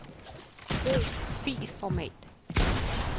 Brug filformat.